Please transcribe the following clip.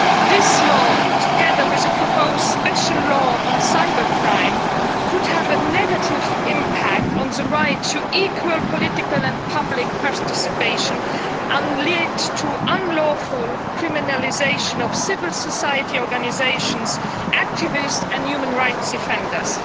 This law, together with the proposed Special Law on Cybercrime, could have a negative impact on the right to equal political and public participation and lead to unlawful criminalisation of civil society organisations, activists and human rights defenders.